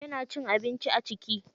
Yana cin abinci a ciki?